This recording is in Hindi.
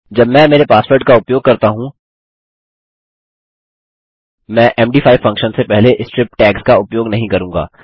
जब मैं मेरे पासवर्ड का उपयोग करता हूँ मैं मद5 फंक्शन से पहले स्ट्रिप टैग्स का उपयोग नहीं करूँगा